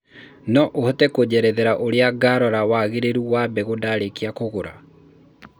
no ũhote kũnjerethera ũrĩa ngarora wangĩrĩru wa mbegũ ndarĩkia kugũra